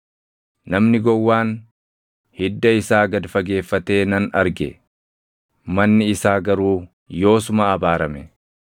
Namni gowwaan hidda isaa gad fageeffatee nan arge; manni isaa garuu yoosuma abaarame.